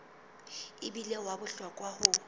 e bile wa bohlokwa ho